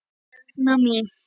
Erna mín.